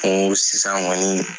N ko sisan kɔni